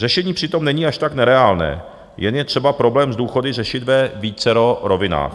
Řešení přitom není až tak nereálné, jen je třeba problém s důchody řešit ve vícero rovinách.